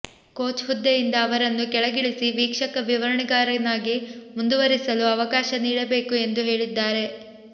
coach ಹುದ್ದೆಯಿಂದ ಅವರನ್ನು ಕೆಳಗಿಳಿಸಿ ವೀಕ್ಷಕ ವಿವರಣೆಗಾರನಾಗಿ ಮುಂದುವರಿಸಲು ಅವಕಾಶ ನೀಡಬೇಕು ಎಂದು ಹೇಳಿದ್ದಾರೆ